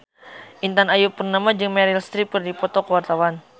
Intan Ayu Purnama jeung Meryl Streep keur dipoto ku wartawan